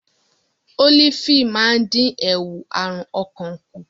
Ólífì máa ń dín ewu àrùn ọkàn kù.